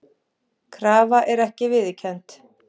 Krafa ekki viðurkennd